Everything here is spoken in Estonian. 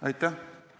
Aitäh!